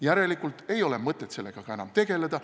Järelikult ei ole mõtet sellega ka enam tegeleda.